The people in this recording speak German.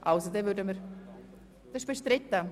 – Dies scheint der Fall zu sein.